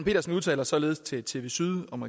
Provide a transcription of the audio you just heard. pedersen udtaler således til tv syd om